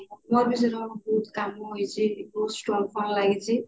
ମୋର ବି ସେଇ ବହୁତ କାମ ହେଇଛି ବହୁତ strong କାମ ହେଇଛି